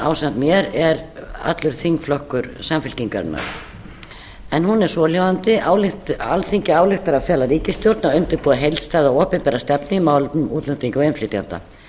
ásamt mér er allur þingflokkur samfylkingarinnar hún er svohljóðandi alþingi ályktar að fela ríkisstjórninni að undirbúa heildstæða opinbera stefnu í málefnum útlendinga og innflytjenda